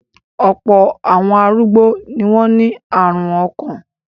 Ọ̀pọ̀ àwọn arúgbó ni wọ́n ní àrùn ọkàn.